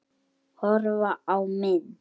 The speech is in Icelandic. Horfa á mynd